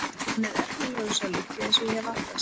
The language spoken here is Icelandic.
Hann er efnilegur sá litli eins og ég hef alltaf sagt.